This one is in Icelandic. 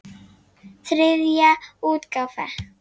Þriðja útgáfa.